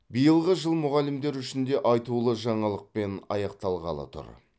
биылғы жыл мұғалімдер үшін де айтулы жаңалықпен аяқталғалы тұр